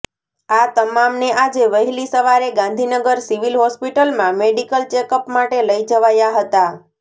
આ તમામને આજે વહેલી સવારે ગાંધીનગર સિવિલ હોસ્પિટલમાં મેડિકલ ચેકઅપ માટે લઈ જવાયા હતા